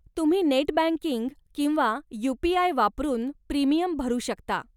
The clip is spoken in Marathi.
तुम्ही नेट बँकिंग किंवा यू.पी.आय. वापरून प्रीमियम भरू शकता.